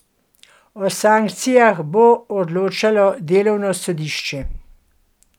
O sankcijah bo odločalo delovno sodišče.